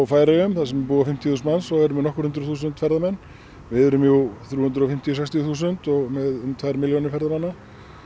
Færeyjum þar sem búa fimmtíu þúsund manns og eru með nokkur hundruð þúsund ferðamenn við erum jú þrjú hundruð og fimmtíu til sextíu þúsund og með um tvær milljónir ferðamanna